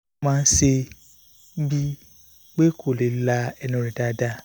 ó máa ń ṣe é bíi pé kò lè la ẹnu rẹ̀ dáadáa